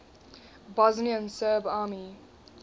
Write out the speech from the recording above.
bosnian serb army